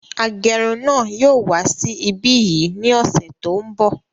Agẹrun náà yóò wá sí ibí yìí ní ọsẹ tó n bọ